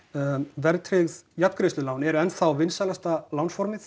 verðtryggð jafngreiðslulán eru enn þá vinsælasta